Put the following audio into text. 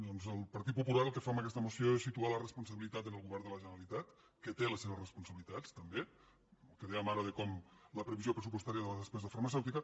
doncs el partit popular el que fa amb aquesta moció és situar la responsabilitat en el govern de la generalitat que té les seves responsabilitats també el que dèiem ara de com la previsió pressupostària de la despesa farmacèutica